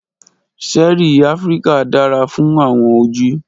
ṣẹẹri Afirika dara fun awọn oju.